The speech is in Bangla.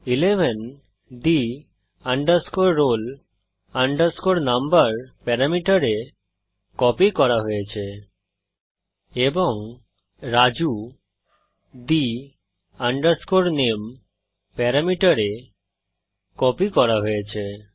11 প্যারামিটার the roll number এ কপি করা হয়েছে এবং রাজু প্যারামিটার the name এ কপি করা হয়েছে